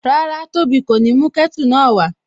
Rárá, tóbi kò ní mú kẹ́tù náà wá